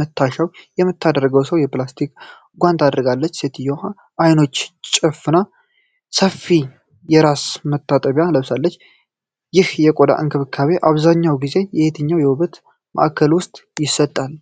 መታሻውን የምታደርገው ሰው የፕላስቲክ ጓንቶችን አድርጓል። ሴትየዋ ዓይኖቿን ጨፍና ሰፊ የራስ መታጠቂያ ለብሳለች። ይህ የቆዳ እንክብካቤ አብዛኛውን ጊዜ የትኛው የውበት ማዕከል ውስጥ ይሰጣል?